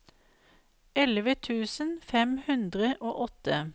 elleve tusen fem hundre og åtte